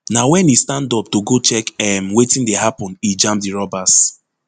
na wen e stand up to go check um wetin dey happun e jam di robbers